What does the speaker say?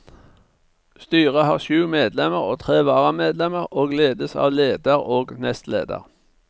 Styret har sju medlemmer og tre varamedlemmer og ledes av leder og nestleder.